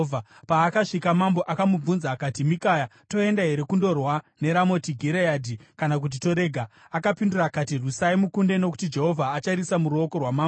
Paakasvika, mambo akamubvunza akati, “Mikaya, toenda here kundorwa neRamoti Gireadhi, kana kuti torega?” Akapindura akati, “Rwisai mukunde nokuti Jehovha achariisa muruoko rwamambo.”